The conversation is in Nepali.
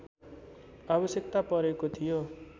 आवश्यकता परेको थियो